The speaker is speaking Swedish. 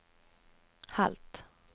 halvt